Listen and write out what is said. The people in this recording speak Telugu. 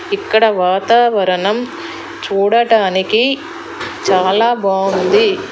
ఇక్కడ వాతావరణం చూడటానికి చాలా బాగుంది.